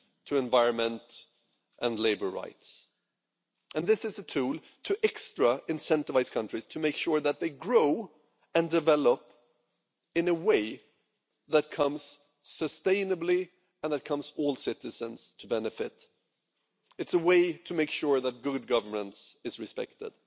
to environment and labour rights. It is a tool to extra incentivise countries, to make sure that they grow and develop in a way that is sustainable and from which all their citizens can benefit. It's a way to make sure that good governance is respected.